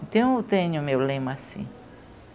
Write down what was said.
Então eu tenho o meu lema assim.